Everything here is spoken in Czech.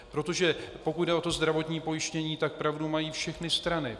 Protože pokud jde o to zdravotní pojištění, tak pravdu mají všechny strany.